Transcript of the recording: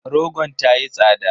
Rogon ta yi tsada.